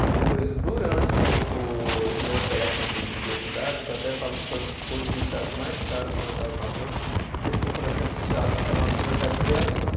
Aí depois, durante o o meu técnico em publicidade, que eu até falo que foi o curso de teatro mais caro que meu pai pagou, porque tinha um projeto de teatro chamado Projeto Criação.